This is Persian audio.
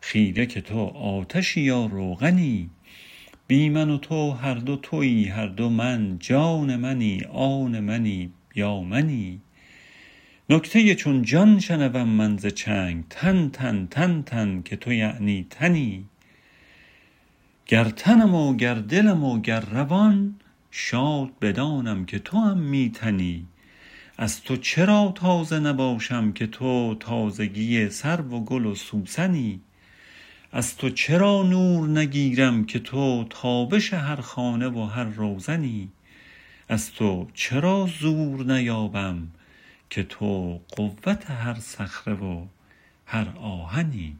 خیره که تو آتشی یا روغنی بی من و تو هر دو توی هر دو من جان منی آن منی یا منی نکته چون جان شنوم من ز چنگ تنتن تنتن که تو یعنی تنی گر تنم و گر دلم و گر روان شاد بدانم که توم می تنی از تو چرا تازه نباشم که تو تازگی سرو و گل و سوسنی از تو چرا نور نگیرم که تو تابش هر خانه و هر روزنی از تو چرا زور نیابم که تو قوت هر صخره و هر آهنی